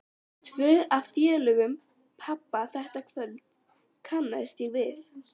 Tvo af félögum pabba þetta kvöld kannaðist ég við.